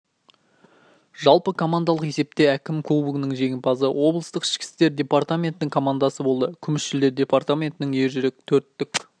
жалпы командалық есепте әкімі кубогының жеңімпазы облыстық ішкі істер департаментнің командасы болды күміс жүлдені департаментінің ержүрек төрттік